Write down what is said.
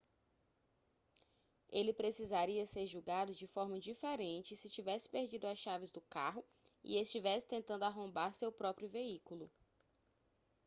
ele precisaria ser julgado de forma diferente se tivesse perdido as chaves do carro e estivesse tentando arrombar seu próprio veículo